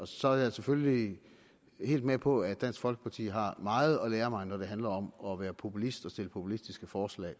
så er jeg selvfølgelig helt med på at dansk folkeparti har meget at lære mig når det handler om at være populist og stille populistiske forslag